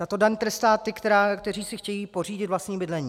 Tato daň trestá ty, kteří si chtějí pořídit vlastní bydlení.